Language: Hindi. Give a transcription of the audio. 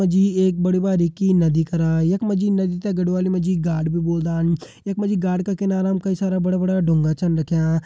यख मा जी एक बड़ी बारीकी नदी करा यख मा जी नदी ते गढ़वाली मा गाड़ भी बोलदान यख मा जी गाड़ का किनारा कई सारा बड़ा-बड़ा ड़ूंगा छन रख्यां।